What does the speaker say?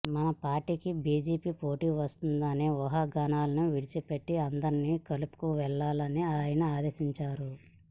మన పార్టీకి బిజెపి పోటీ వస్తుంది అనే ఊహాగానాలను విడిచిపెట్టి అందరినీ కలుపుకు వెళ్లాలని ఆయన ఆదేశించారు